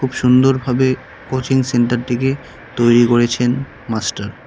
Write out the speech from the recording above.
সুন্দরভাবে কোচিং সেন্টারটিকে তৈরি করেছেন মাস্টার ।